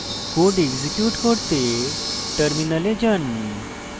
code execute করতে terminal যান